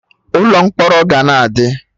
Ụlọ mkpọrọ ga na adị